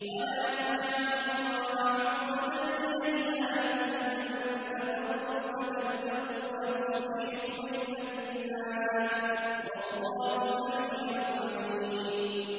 وَلَا تَجْعَلُوا اللَّهَ عُرْضَةً لِّأَيْمَانِكُمْ أَن تَبَرُّوا وَتَتَّقُوا وَتُصْلِحُوا بَيْنَ النَّاسِ ۗ وَاللَّهُ سَمِيعٌ عَلِيمٌ